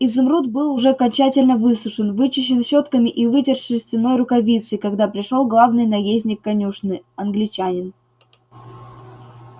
изумруд был уже окончательно высушен вычищен щётками и вытерт шерстяной рукавицей когда пришёл главный наездник конюшни англичанин